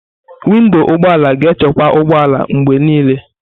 Windo ụgbọ ala ga-echekwa ụgbọ ala mgbe niile.